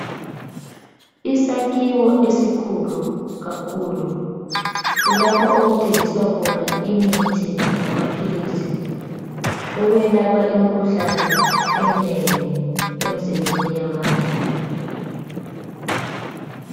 Isakhiwo esikhulu kakhulu kulapho okuthengiswa khona imithi lamaphilisi okwelapha imikhuhlane eminengi emzimbeni yabantu.